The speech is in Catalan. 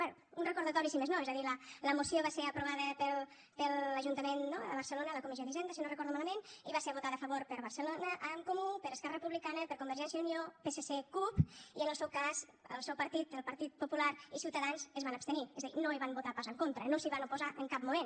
bé un recordatori si més no és a dir la moció va ser aprovada per l’ajuntament de barcelona a la comissió d’hisenda si no ho recordo malament i va ser votada a favor per barcelona en comú per esquerra republicana per convergència i unió psc cup i en el seu cas el seu partit el partit popular i ciutadans es van abstenir és a dir no hi van votar pas en contra no s’hi van oposar en cap moment